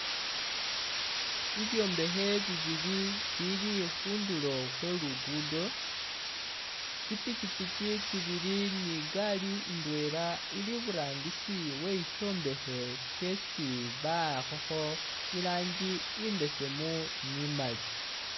Bibyombekhe bibili bibili khundulo khwe lugudo ,tsi i'pikyipikyi tsibili ni'gaalii indwela ili iburangisi we shishombekhe shesi bawakhokho iranji imbesemu ni imaali